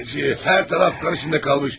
Hər tərəf qan içində qalmış.